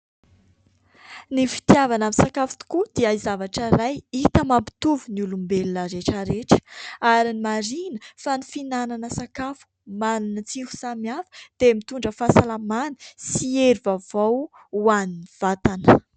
Ny fitiavana misakafo tokoa dia zavatra iray hita mapitovy ny olombelona rehetrarehetra ary marihina fa ny fihinanana sakafo manana tsiro samihafa dia mitondra fahasalamana sy hery vaovao ho an'ny vatana.